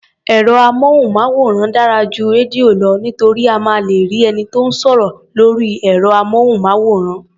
Ẹ̀rọ-amóhùnmáwòrán dára ju rédíò lọ nítorí a máa lè rí ẹni tó ń sọ̀rọ̀ lórí ẹ̀rọ-amóhùnmáwòrán.